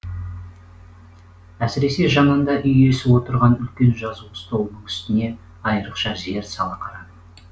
әсіресе жанында үй иесі отырған үлкен жазу столының үстіне айырықша зер сала қарадым